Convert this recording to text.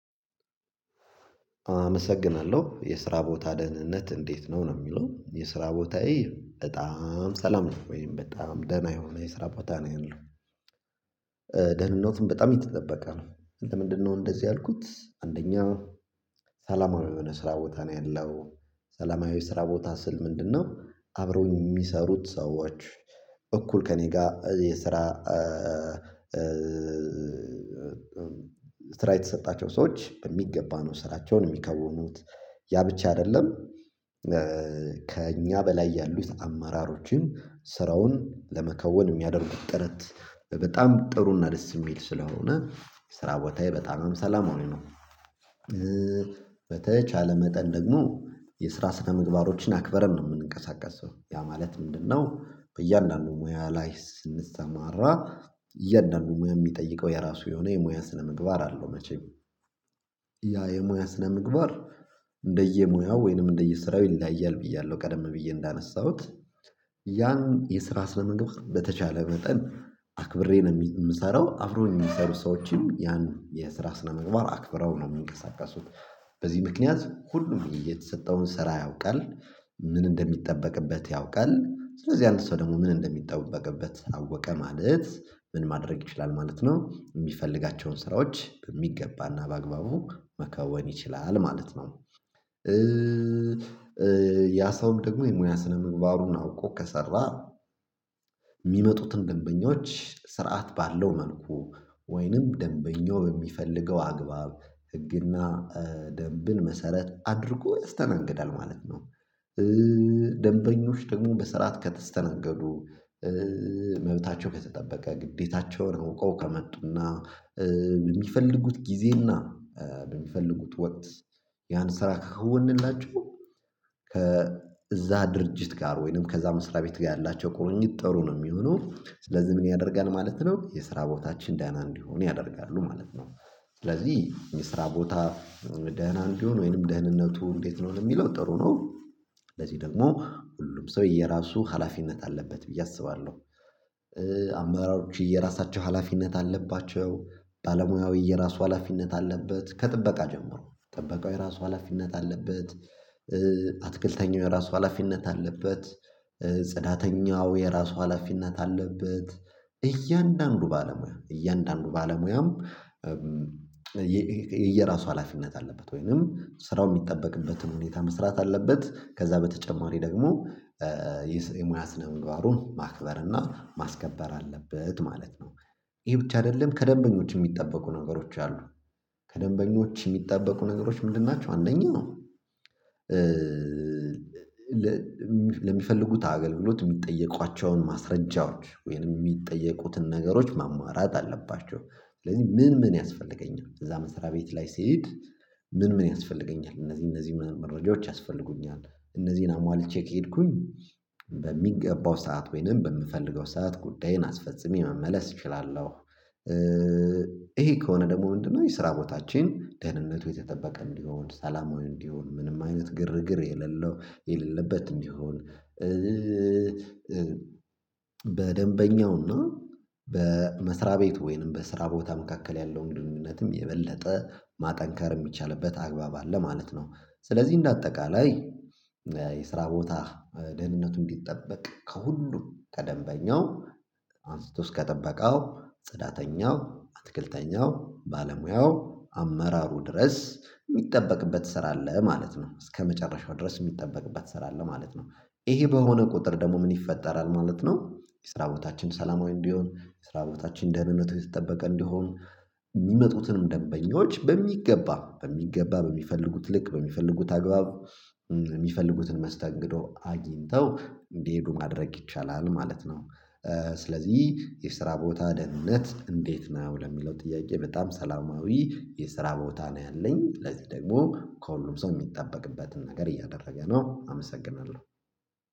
አመሰግናለሁ የስራ ቦታ ደህንነት እንዴት ነው? ነው የሚለው የስራ ቦታዬ በጣም ሰላም ነው ወይም በጣም ደህና የሆን የስራ ቦታ ነው ያለው ደህንነቱም በጣም የተጠበቀ ነው። ለምንድነው እንደዚህ ያልኩት? አንደኛ ሰላማዊ የሆነ ስራ ቦታ ነው ያለው። ሰላማዊ ስራ ቦታ ስል ምንድነው? አብረውኝ የሚሰሩት ሰዎች እኩል ከእኔ ጋ የስራ ስራ የተሰጣቸው ሰዎች በሚገባ ነው ስራቸውን የሚከውኑት ያ ብቻ አይደለም ከእኛ በላይ ያሉት አመራሮችን ስራውን ለመከወን የሚያደርጉት ጥረት በጣም ጥሩና ደስ የሚል ስለሆነ ስራ ቦታዬ በጣምም ሰላማዊ ነው። በተቻለ መጠን ደግሞ የስራ ስነ ምግባሮችን አክበረን ነው የምንንቀሳቀሰው ያ ማለት ምንድነው? በእያንዳንዱ ሙያ ላይ ስንሰማራ እያንዳንዱ ሙያ የሚጠይቀው የራሱ የሆነ የሙያ ስነምግባር አለው። መቼም ያ የሙያ ስነ ምግባር እንደየሙያው ወይንም እንደየስራው ይለያያል። ብያለሁ ቀደም ብዬ እንዳነሳሁት ያን የስራ ስነምግባር በተቻለ መጠን አክብሬ ነው የምሰራው አብሮን የሚሰሩ ሰዎችም ያን የስራ ስነምግባር አክብረው ነው የሚንቀሳቀሱት። በዚህ ምክንያት ሁሉም የተሰጠውን ስራ ያውቃል ምን እንደሚጠበቅበት ያውቃል ስለዚህ አንድ ሰው ደግሞ ምን እንደሚጠበቅበት አወቀ ማለት ምን ማድረግ ይችላል ማለት ነው የሚፈልጋቸውን ስራዎች በሚገባና በአግባቡ መከወን ይችላል ማለት ነው። ያ ሰውም ደግሞ የሙያ ስነምግባሩን አውቆ ከሰራ የሚመጡትን ደንበኞች ስርዓት ባለው መልኩ ወይንም ደንበኛው በሚፈልገው አግባብ ህግና ደንብን መሰረት አድርጎ ያስተናግዳል ማለት ነው። ደንበኞች ደግሞ በስርዓት ከተስተናገዱ መብታቸው ከተጠበቀ ግዴታቸውን አውቀው ከመጡና በሚፈልጉት ጊዜና በሚፈልጉት ወቅት ያን ስራ ከከወንላችው ከእዛ ድርጅት ጋር ወይንም ከዛ መስሪያ ቤት ጋር ያላቸው ቁርኝት ጥሩ ነው የሚሆነው ስለዚህ ምን ያደርጋል ማለት ነው። የስራ ቦታችን ዳና እንዲሆን ያደርጋሉ ማለት ነው። ስለዚህ የስራ ቦታ ደህና ቢሆን ወይንም ደህንነቱ እንዴት ነው ለሚለው ጥሩ ነው። ስለዚህ ደግሞ ሁሉም ሰው የየራሱ ሀላፊነት አለበት ብዬ አስባለሁ። አመራሮች የራሳቸው ሀላፊነት አለባቸው። ባለሙያዊ የራሱ ሀላፊነት አለበት ከጥበቃ ጀምሮ ጠበቃው የራሱ ሀላፊነት አለበት። አትክልተኛው የራሱ ሀላፊነት አለበት። ጽዳተኛው የራሱ ሀላፊነት አለበት። እያንዳንዱ ባለሙያ እያንዳንዱ ባለሙያም የየራሱ ሀላፊነት አለበት ወይንም ስራው የሚጠበቅበትን ሁኔታ መስራት አለበት ከዛ በተጨማሪ ደግሞ የሙያ ስነ ምባሩን ማክበር እና ማስከበር አለበት ማለት ነው። ይሄ ብቻ አይደለም ከደንበኞች የሚጠበቁ ነገሮች አሉ ከደንበኞች የሚጠበቁ ነገሮች ምንድን ናቸው? አንደኛው ለሚፈልጉት አገልግሎት የሚጠየቋቸውን ማስረጃዎች ወይንም የሚጠየቁትን ነገሮች ማሟላት አለባቸው። ስለዚህ ምን ምን ያስፈልገኛል? እዛ መስሪያ ቤት ላይ ስሄድ ምን ምን ያስፈልገኛል? እነዚህ እነዚህ መረጃዎች ያስፈልጉኛል እነዚህን አሟልቼ ከሄድኩኝ በሚገባው ሰዓት ወይንም በምፈልገው ሰዓት ጉዳዬን አስፈጽሜ መመለስ እችላለሁ። ይሄ ከሆነ ደግሞ ምንድነው? የስራ ቦታችን ደህንነቱ የተጠበቀም እንዲሆን ሰላማዊ እንዲሆን ምንም አይነት ግርግር የሌለው የሌለበት እንዲሆን በደንበኛውና በመስሪያ ቤቲ ወይንም በስራ ቦታ መካከል ያለውን ግንኙነትም የበለጠ ማጠንከር የሚቻልበት አግባብ አለ ማለት ነው። ስለዚህ እንደ አጠቃላይ የስራ ቦታ ደህንነቱን ቢጠበቅ ከሁሉም ከደምበኛው አንስቶ እስከ ጥበቃው ጽዳተኛው አትክልተኛው ባለሙያው አመራሩ ድረስ የሚጠበቅበት ስራ አለ ማለት ነው። እስከመጨረሻው ድረስ የሚጠበቅበት ስራ አለ ማለት ነው። ይሄ በሆነ ቁጥር ደግሞ ምን ይፈጠራል ማለት ነው። የስራ በታችን ሰላማዊ እንዲሆን የስራ ቦታችን ደህንነቱ የተጠበቀ እንዲሆን የሚመጡትን ደንበኞች በሚገባ በሚገባ በሚፈልጉት ልክ በሚፈልጉት አግባብ የሚፈልጉትን መስተንግዶ አግኝተው እንዲሄዱ ማድረግ ይቻላል ማለት ነው። ስለዚህ የስራ ቦታ ደህንነት እንዴት ነው ለሚለው ጥያቄ በጣም ሰላማዊ የስራ ቦታ ነው። ያለኝ ለዚህ ደግሞ ከሁሉም ሰው የሚጠበቅበትን ነገር እያደረገ ነው አመሰግናለሁ